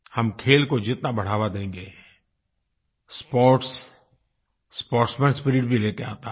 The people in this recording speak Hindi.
हम खेल को जितना बढ़ावा देंगे स्पोर्ट्स स्पोर्ट्समैन स्पिरिट भी लेकर आता है